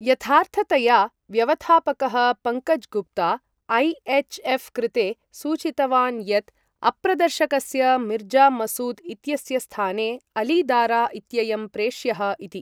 यथार्थतया, व्यवथापकः पङ्कज् गुप्ता ऐ.एच्.एफ्. कृते सूचितवान् यत्, अप्रदर्शकस्य मिर्ज़ा मसूद् इत्यस्य स्थाने अलि दारा इत्ययं प्रेष्यः इति।